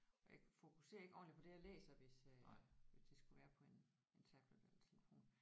Og jeg fokuserer ikke ordentligt på det jeg læser hvis øh hvis det skulle være på en en tablet eller telefon